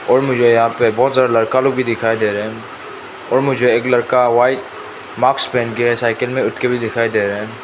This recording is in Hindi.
और मुझे यहां पे बहुत ज्यादा लड़का लोग भी दिखाई दे रहे हैं और मुझे एक लड़का व्हाइट मास्क पहन के साइकिल में उठ के भी दिखाई दे रहा है।